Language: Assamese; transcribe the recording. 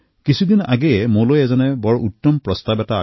কিছুদিন পূৰ্বে কোনো এক মহাশয়ে মোক এটা সুন্দৰ পৰামৰ্শ প্ৰদান কৰিলে